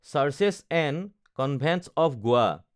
searches and convents of Goa